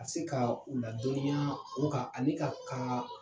A se ka o ladɔniya o kan ani ka ka